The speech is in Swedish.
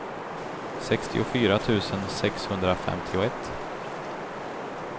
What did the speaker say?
sextiofyra tusen sexhundrafemtioett